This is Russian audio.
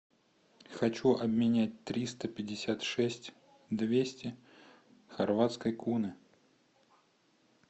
хочу обменять триста пятьдесят шесть двести хорватской куны